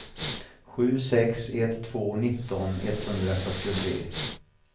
sju sex ett två nitton etthundrafyrtiotre